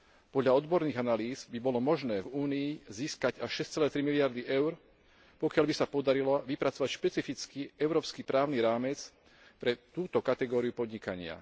Podľa odborných analýz by bolo možné v Únii získať až 6,3 miliardy eur, pokiaľ by sa podarilo vypracovať špecifický európsky právny rámec pre túto kategóriu podnikania.